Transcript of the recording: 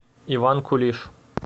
иван кулиш